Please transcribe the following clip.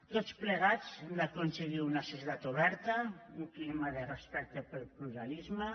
tots plegats hem d’aconseguir una societat oberta un clima de respecte pel pluralisme